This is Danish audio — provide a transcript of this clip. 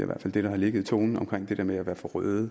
hvert fald det der har ligget i tonen omkring det med at være for røde